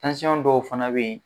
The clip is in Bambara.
dɔw fana bɛ yen